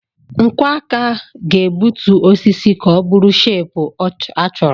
Nkwọ aka ga-egbutu osisi ka ọ bụrụ shepu a chọrọ.